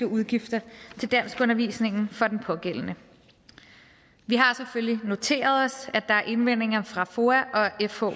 udgifter til danskundervisning for den pågældende vi har selvfølgelig noteret os at der er indvendinger fra foa og fh